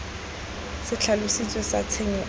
se tlhalositsweng sa tshenyo se